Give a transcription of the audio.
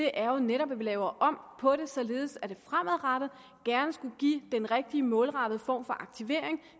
er jo netop at vi laver om på det således at det fremadrettet gerne skulle give den rigtige målrettede form for aktivering